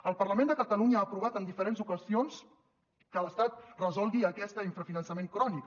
el parlament de catalunya ha aprovat en diferents ocasions que l’estat resolgui aquest infrafinançament crònic